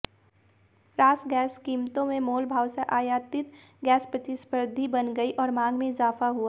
RasGas कीमतों में मोलभाव से आयातित गैस प्रतिस्पर्धी बन गई और मांग में इजाफा हुआ